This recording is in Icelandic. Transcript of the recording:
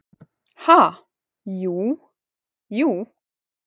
Ha, jú, jú.